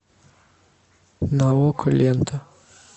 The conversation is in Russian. на окко лента